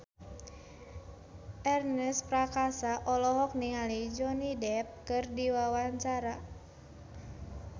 Ernest Prakasa olohok ningali Johnny Depp keur diwawancara